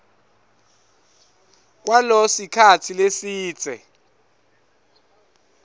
kwalo sikhatsi lesidze